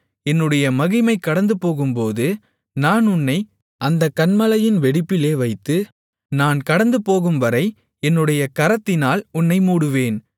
என்னுடைய மகிமை கடந்துபோகும்போது நான் உன்னை அந்தக் கன்மலையின் வெடிப்பிலே வைத்து நான் கடந்துபோகும்வரை என்னுடைய கரத்தினால் உன்னை மூடுவேன்